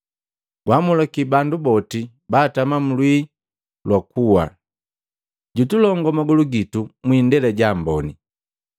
Gwamulaki bandu boti batama mlwii lwa kuwa, Jutulongua magolu gitu mwiindela jaamboni.”